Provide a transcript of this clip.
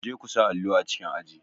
Kuje ku sa allo a cikin aji.